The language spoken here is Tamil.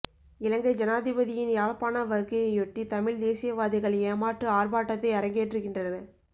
இலங்கை ஜனாதிபதியின் யாழ்ப்பாண வருகையையொட்டி தமிழ் தேசியவாதிகள் ஏமாற்று ஆர்ப்பாட்டத்தை அரங்கேற்றுகின்றனர்